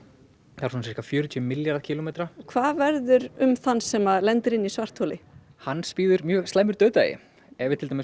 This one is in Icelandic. er svona sirka fjörutíu milljarða kílómetra hvað verður um þann sem lendir inni í svartholi hans bíður mjög slæmur dauðdagi ef til dæmis